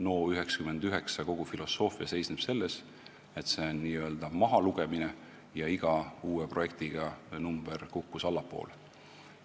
NO99 kogu filosoofia seisnes selles, et see on n-ö mahalugemine, ja iga uue projektiga kukkus number allapoole.